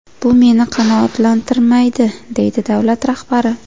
Bu meni qanoatlantirmaydi”, deydi davlat rahbari.